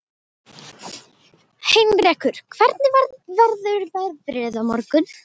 Heinrekur, hvernig verður veðrið á morgun?